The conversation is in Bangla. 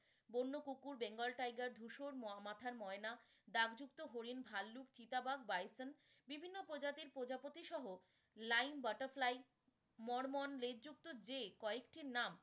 বন্য কুকুর bengal tiger ধুসর মাথার ময়না, দাগযুক্ত হরিণ, ভাল্লুক, চিতাবাঘ, বাইসন বিভিন্ন প্রজাতির প্রজাপতি সহ line butterfly মর্মন লেজ যুক্ত কয়েকটি নাম এই জলপ্রপাত।